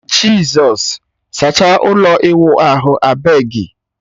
Jizọs! Sachaa ụlọ ịwụ ahụ abegi.